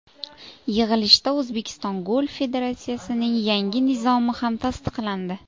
Yig‘ilishda O‘zbekiston Golf federatsiyasining yangi Nizomi ham tasdiqlandi.